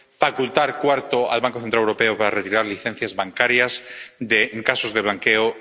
Facultar —cuarto— al Banco Central Europeo para retirar licencias bancarias en casos de blanqueo.